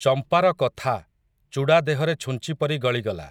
ଚମ୍ପାର କଥା, ଚୂଡ଼ା ଦେହରେ ଛୁଞ୍ଚି ପରି ଗଳିଗଲା ।